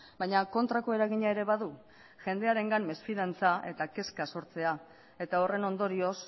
baina kontrako eragina ere badu jendearengan mesfidantza eta kezka sortzea eta horren ondorioz